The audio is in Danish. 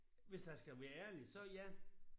Hvis jeg skal være ærlig så ja